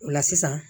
O la sisan